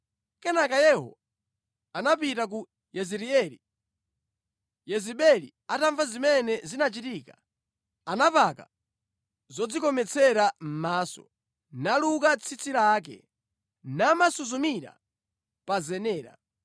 Kenaka Yehu anapita ku Yezireeli. Yezebeli atamva zimene zinachitika, anapaka zodzikometsera mʼmaso, naluka tsitsi lake, namasuzumira pa zenera.